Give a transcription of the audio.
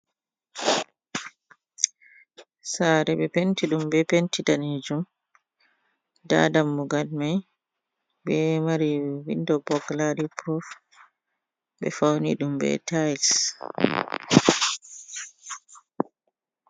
Saare ɓe penti ɗum be penti danejum, nda dammugan mai ɓe maari windo bogilari puruf ɓe fauni ɗum be tayis.